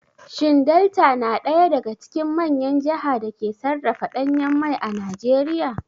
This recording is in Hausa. Shin Delta na ɗaya daga cikin manyan jaha da ke sarrafa ɗanyen mai a Najeriya?